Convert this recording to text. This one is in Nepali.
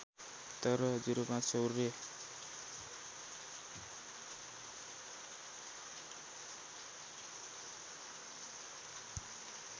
तर ०५ सौर्य